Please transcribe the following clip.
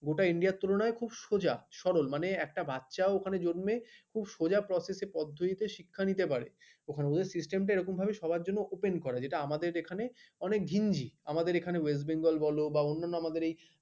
গোটা india তুলনায় খুব সোজা সরল মানে একটা বাচ্চা ওখানে জন্মে খুব সোজা process পদ্ধতিতে শিক্ষা নিতে পারে ওখানে ওদের system এরকম ভাবে সবার জন্য open করা এটা আমাদের এখানে অনেক গেঞ্জি আমাদের এখানে west bengal বলবা অন্যান্য আমাদের এই,